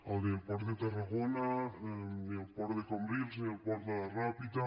ni el port de tarragona ni el port de cambrils ni el port de la ràpita